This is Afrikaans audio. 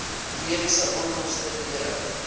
mediese onkoste dele